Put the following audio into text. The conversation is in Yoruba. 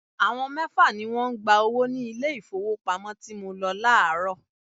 Àwọn mẹ́fà ni wọ́n ń gba owó ní ilé ìfowópamọ́ tí mo lọ láàárọ̀.